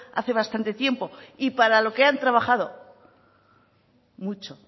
hace bastante tiempo y para lo que han trabajado mucho